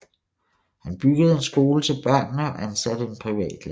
Han byggede en skole til børnene og ansatte en privatlærer